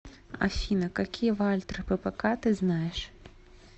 афина какие вальтер ппк ты знаешь